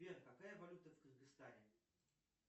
сбер какая валюта в кыргызстане